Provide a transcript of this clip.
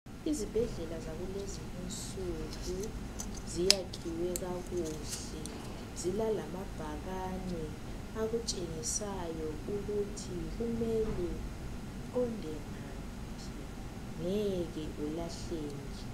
Izibhedlela zakulezi insuku ziyakhiwe kakuhle zila lamabhakani akutshengisayo ukuthi kumele uqonde ngaphi ngeke ulahleke